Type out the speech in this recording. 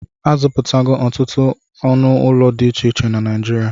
A zụpụtago ọtụtụ anụ ụlọ dị iche na Naijirịa